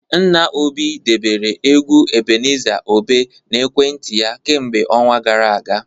Nna Obi debere egwu Ebenezer Obe n'ekwentị ya kemgbe ọnwa gara aga